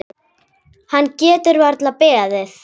Hann getur varla beðið.